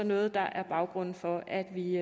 noget der er baggrunden for at vi